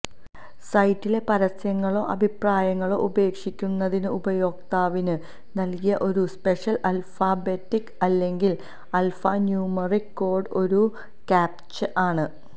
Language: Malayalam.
സൈറ്റിലെ പരസ്യങ്ങളോ അഭിപ്രായങ്ങളോ ഉപേക്ഷിക്കുന്നതിന് ഉപയോക്താവിന് നൽകിയ ഒരു സ്പെഷ്യൽ ആൽഫാബെറ്റിക്ക് അല്ലെങ്കിൽ ആൽഫാന്യൂമെറിക് കോഡ് ഒരു കാപ്ചാ ആണ്